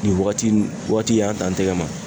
Nin wagati nin wagati y'an t'an tɛgɛ ma.